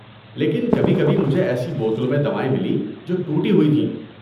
لیکن کبھی کبھی مجھے ایسی بوتلوں میں دوائیں ملیں جو ٹوٹی ہوئی تھیں۔